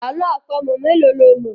Àlọ́ àpamọ̀ mélòó lo mọ̀.